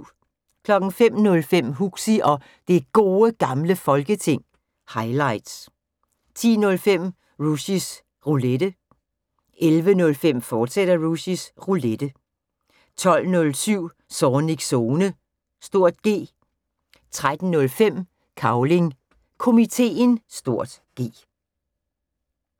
05:05: Huxi og Det Gode Gamle Folketing – highlights 10:05: Rushys Roulette 11:05: Rushys Roulette, fortsat 12:07: Zornigs Zone (G) 13:05: Cavling Komiteen (G)